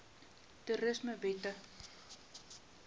toerismewette